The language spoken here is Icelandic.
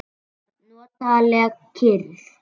Það var notaleg kyrrð.